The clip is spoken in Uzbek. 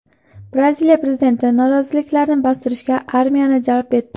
Braziliya prezidenti noroziliklarni bostirishga armiyani jalb etdi.